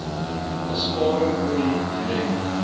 besparing olie direk